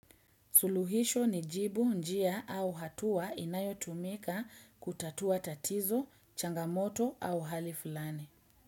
Suluhisho ni jibu njia au hatua inayo tumika kutatua tatizo, changamoto au hali fulani.